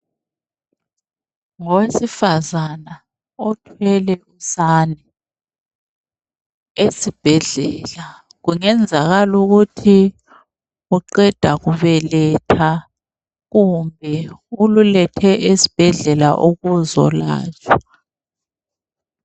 Ngowesifazana othwele usana eSibhedlela kungenzakala ukuthi uqeda kubeletha kumbe ululethe eSibhedlela ukuzolatshwa.